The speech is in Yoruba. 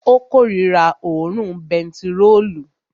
Ó korira òórùn bentiróòlù